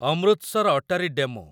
Amritsar Attari DEMU